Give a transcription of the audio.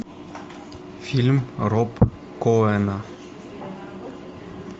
фильм роб коэна